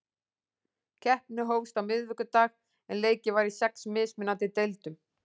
Keppni hófst á miðvikudag en leikið var í sex mismunandi deildum.